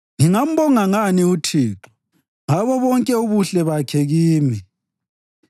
Ngingambonga ngani uThixo ngabo bonke ubuhle bakhe kimi?